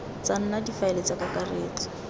tsa nna difaele tsa kakaretso